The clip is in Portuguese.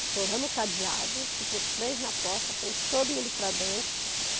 Estouramos o cadeado, ficou três na porta, põe todo mundo para dentro.